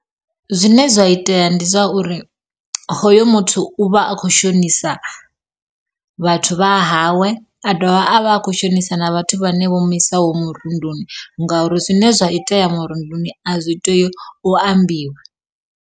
Zwine zwa itea ndi zwa uri, hoyo muthu u vha a kho shonisa vhathu vhahawe a dovha a vha a kho shonisa na vhathu vhane vho muisaho murunduni ngauri zwine zwa itea murunduni a zwi tei u ambiwa.